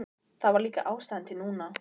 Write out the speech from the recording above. Það var líka ástæða til núna.